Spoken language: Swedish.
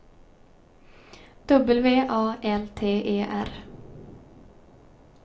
W A L T E R